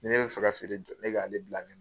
Ni ne bɛ fɛ ka feere jɔ ne k'ale bila mi